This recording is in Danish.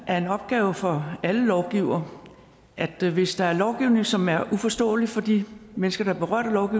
er en opgave for alle lovgivere at hvis der er lovgivning som er uforståelig for de mennesker der er berørt af